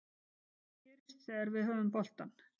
Hvað gerist þegar við höfum boltann